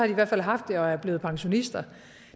i hvert fald haft det og er blevet pensionister